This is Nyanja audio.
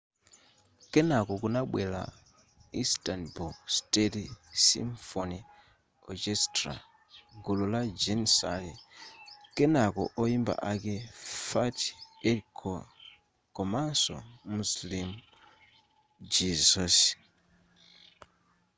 kenako kunabwera istanbul state symphony orchestra gulu la janissary kenako oyimba ake fatih erkoç komanso müslüm gürses